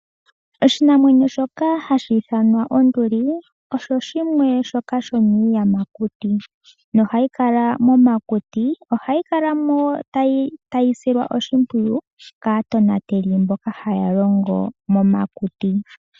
Oshinamwenyo shoka hashi ithanwa onduli osho shimwe shoka sho miiyamakuti ,no hayi kala momakuti . Ohayi kalamo tayi silwa oshimpwiyu kaatonateli mboka haya longo momakuti.